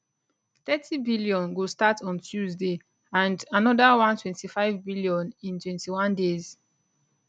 30bn go start on tuesday and anoda 125bn in 21 days